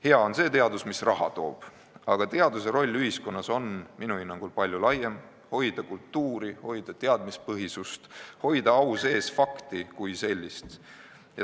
Hea on see teadus, mis raha toob, aga teaduse roll ühiskonnas on minu hinnangul palju laiem: hoida kultuuri, hoida teadmispõhisust, hoida au sees fakti kui sellist.